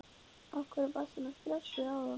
Af hverju varstu svona stressaður áðan?